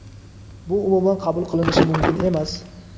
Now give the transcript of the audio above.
bu umuman qabul qilinishi mumkin emas.